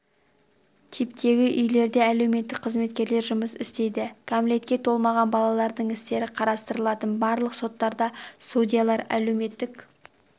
типтегі үйлерде әлеуметтік қызметкерлер жұмыс істейді кәмелетке толмаған балалардың істері қарастырылатын барлық соттарда судьялар әлеуметтік